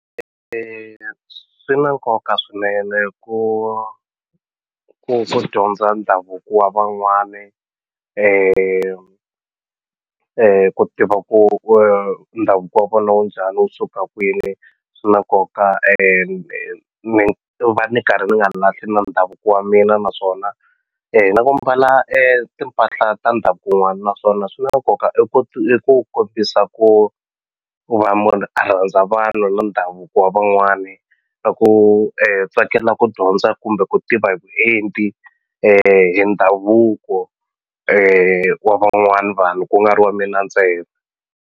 ya swi na nkoka swinene ku ku dyondza ndhavuko wa van'wani ku tiva ku ku ndhavuko wa vona wu njhani wu suka kwini swi na nkoka ni va ni karhi ni nga lahli ndhavuko wa mina naswona e na ku mbala e timpahla ta ndhavuko wun'wana naswona swi na nkoka i ku i ku kombisa ku ku va munhu a rhandza vanhu na ndhavuko wa van'wani na ku tsakela ku dyondza kumbe ku tiva hi vuenti hi ndhavuko wa van'wani vanhu ku nga ri wa mina ntsena.